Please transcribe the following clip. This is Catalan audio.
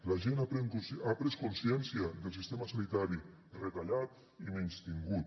la gent ha pres consciència del sistema sanitari retallat i menystingut